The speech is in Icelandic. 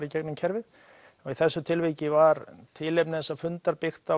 í gegnum kerfið og í þessu tilviki var tilefni þessa fundar byggt á